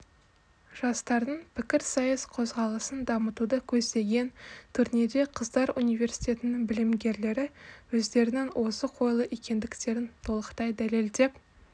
жастардың пікірсайыс қозғалысын дамытуды көздеген турнирде қыздар университетінің білімгерлері өздерінің озық ойлы екендіктерін толықтай дәлелдеп